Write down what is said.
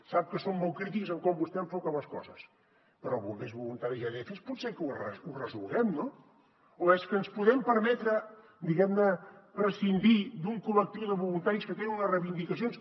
sap que som molt crítics amb com vostè enfoca les coses però bombers voluntaris i adfs potser que ho resolguem no o és que ens podem permetre diguem ne prescindir d’un col·lectiu de voluntaris que tenen unes reivindicacions